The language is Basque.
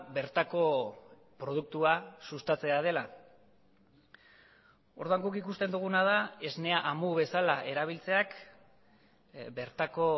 bertako produktua sustatzea dela orduan guk ikusten duguna da esnea amu bezala erabiltzeak bertako